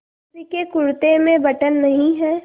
किसी के कुरते में बटन नहीं है